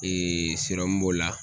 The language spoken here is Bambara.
b'o la